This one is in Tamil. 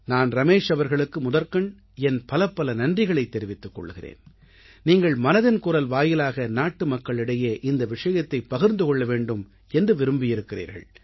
நான் ரமேஷ் அவர்களுக்கு முதற்கண் என் பலப்பல நன்றிகளைத் தெரிவித்துக் கொள்கிறேன் நீங்கள் மனதின் குரல் வாயிலாக நாட்டுமக்களுக்கிடையே இந்த விஷயத்தைப் பகிர்ந்து கொள்ள வேண்டும் என்று விரும்பியிருக்கிறீர்கள்